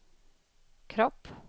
kropp